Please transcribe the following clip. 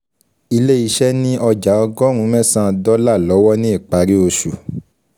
Ilé iṣẹ́ ni ọjà ọgọ́rùn mẹsan dọ́là lọ́wọ́ ni ìpárí oṣù